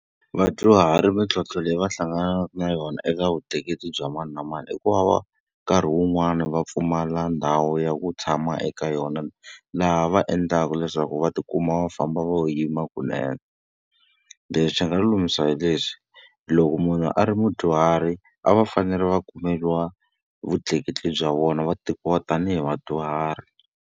Vadyuhari mintlhontlho leyi va hlanganaka na yona eka vutleketli bya mani na mani i ku va va nkarhi wun'wani va pfumala ndhawu ya ku tshama eka yona, laha va endlaka leswaku va tikuma va famba va lo yima kunene. Leswi nga lulamisa hi leswi, loko munhu a ri mudyuhari a va fanele va kumeriwa vutleketli bya vona, va tekiwa tanihi vadyuhari.